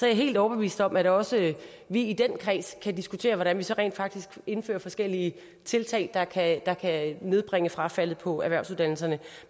jeg helt overbevist om at vi også i den kreds kan diskutere hvordan vi så rent faktisk indfører forskellige tiltag der kan der kan nedbringe frafaldet på erhvervsuddannelserne